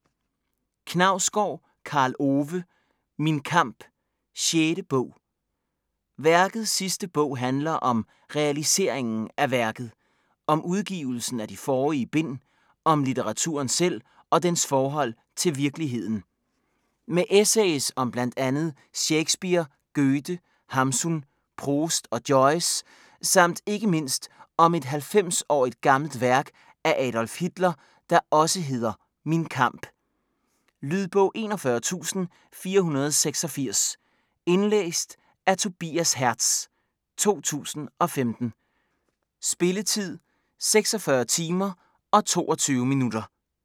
Knausgård, Karl Ove: Min kamp: 6. bog Værkets sidste bog handler om realiseringen af værket: om udgivelsen af de forrige bind, om litteraturen selv og dens forhold til virkeligheden. Med essays om bl.a. Shakespeare, Goethe, Hamsun, Proust og Joyce samt ikke mindst om et 90-årigt gammelt værk af Adolf Hitler, der også hedder "Min kamp". Lydbog 41486 Indlæst af Tobias Hertz, 2015. Spilletid: 46 timer, 22 minutter.